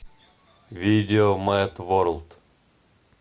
видео мэд ворлд